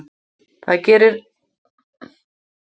Það gerir ekkert til þótt hlegið verði að mér, ég er orðin vön því.